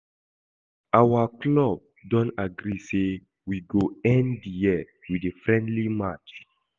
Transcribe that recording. Our club don agree say we go end the year with a friendly match